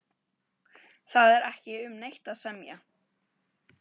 Það er ekki um neitt að semja